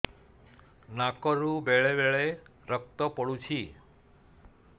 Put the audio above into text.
ନାକରୁ ବେଳେ ବେଳେ ରକ୍ତ ପଡୁଛି